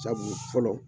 Sabu fɔlɔ